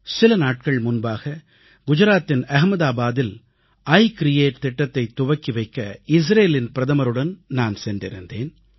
சில நாட்கள் முன்பாக குஜராத்தின் அகமதாபாத்தில் இ கிரியேட் திட்டத்தைத் துவக்கி வைக்க இஸ்ரேலின் பிரதமருடன் நான் சென்றிருந்தேன்